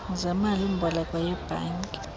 zemali mboleko yebhanki